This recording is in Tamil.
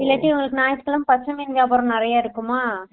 இல்லாட்டி ஞாயிற்றுக்கிழமை பசங்க வியாபாரம் நெறையா இருக்குமா